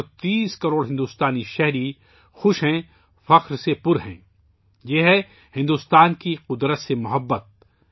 130 کروڑ بھارتی خوش ہیں، فخر سے بھرے ہیں یہ بھارت کی فطرت سے محبت ہے